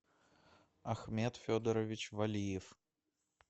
ахмед федорович валиев